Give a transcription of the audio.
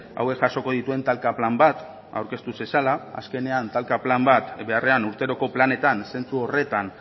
hauek jasoko dituen talka plan bat aurkeztu zezala azkenean talka plan bat beharrean urteroko planetan zentzu horretan